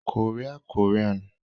Kòríà - Kòríàn